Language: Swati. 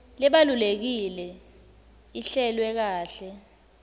lebalulekile ihlelwe kahle